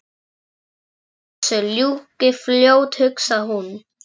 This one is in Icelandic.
Bara að þessu ljúki fljótt hugsaði hún.